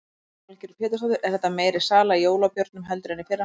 Lillý Valgerður Pétursdóttir: Er þetta meiri sala í jólabjórnum heldur en fyrri ár?